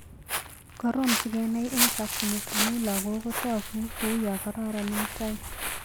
Korom sikenai eng' chokchinet amu lagok kotoku kou yo kororon eng' tai.